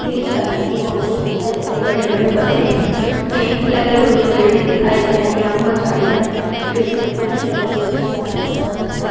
Green colour की boundary दिखाई दे रही बड़े_बड़े पत्ते के के लगे हुए पेड़ हैं दिखाई दे रहे हैं और बहोत झाड़ीदार पेड़ भी दिखाई दे रहे हैं एक छोटा_सा दिखाई दे रहा-- है।